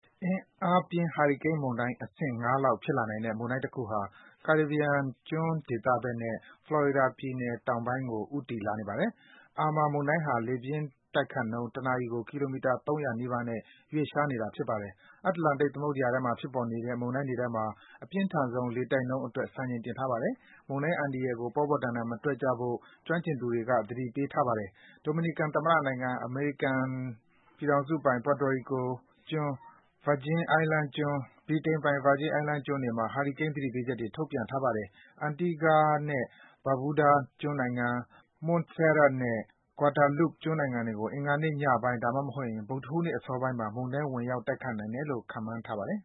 အင်အားပြင်း ဟာရီကိန်း မုန်တိုင်း အဆင့် ၅ လောက် ဖြစ်လာနိုင်တဲ့ မုန်တိုင်းတခုဟာ ကာရစ်ဘီယံကျွန်း ဒေသဖက်နဲ့ Florida ပြည်နယ် တောင်ပိုင်းဖက်ကို ဦးတည် လာနေပါတယ်။ Irma မုန်တိုင်းဟာ လေပြင်းတိုက်နှုန်း တနာရီကို ကီလိုမီတာ ၃၀၀ နီးပါးနဲ့ ရွှေ့လျား လာနေတာဖြစ်ပါတယ်။ အတ္တလန္တိတ် သမုဒ္ဒရာထဲမှာ ဖြစ်ပေါ်တဲ့ မုန်တိုင်းတွေထဲမှာ အပြင်းထန်ဆုံးလေတိုက်နှုန်း အတွက် စံချိန်တင်ထားပါတယ်။ မုန်တိုင်း အန္တရာယ်ကို ပေါ့ပေါတန်တန် မတွက်ကြဖို့ ကျွမ်းကျင်သူတွေက သတိပေးထားပါတယ်။ ဒိုမီနီကန် သမ္မတနိုင်ငံ၊ အမေရိကန်ပိုင် Puerto Rico ကျွန်း၊ အမေရိကန်ပိုင် Virgin Island ကျွန်း၊ ဗြိတိန်ပိုင် Virgin Island ကျွန်းတွေမှာ ဟာရီကိန်း သတိပေးချက်တွေ ထုတ်ပြန် ထားပါတယ်။ Antigua and Barbuda ကျွန်းနိုင်ငံ၊ Montserrat နဲ့ Guadeloupe ကျွန်းနိုင်ငံတွေကို အင်္ဂါနေ့ညပိုင်း ဒါမှမဟုတ် ဗုဒ္ဓဟူးနေ့ အစောပိုင်းမှာ မုန်တိုင်း ဝင်ရောက်နိုင်တယ်လို့ ခန့်မှန်းထားပါတယ်